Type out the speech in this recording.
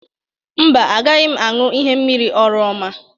Mba, agaghị m aṅụ ihe mmiri oroma.